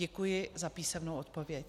Děkuji za písemnou odpověď.